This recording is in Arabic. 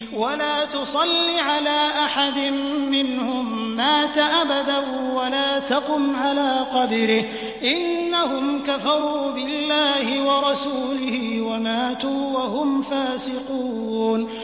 وَلَا تُصَلِّ عَلَىٰ أَحَدٍ مِّنْهُم مَّاتَ أَبَدًا وَلَا تَقُمْ عَلَىٰ قَبْرِهِ ۖ إِنَّهُمْ كَفَرُوا بِاللَّهِ وَرَسُولِهِ وَمَاتُوا وَهُمْ فَاسِقُونَ